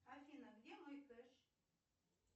афина где мой кэш